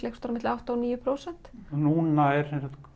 eitthvað á milli átta og níu prósent núna er